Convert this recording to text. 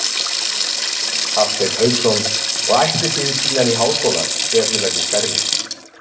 Hafsteinn Hauksson: Og ætlið þið síðan í háskóla þegar þið verðið stærri?